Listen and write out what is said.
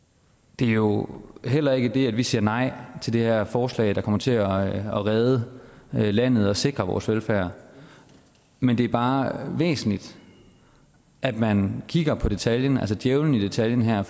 det er jo heller ikke det at vi siger nej til det her forslag der kommer til at redde landet og sikre vores velfærd men det er bare væsentligt at man kigger på detaljen altså djævelen i detaljen her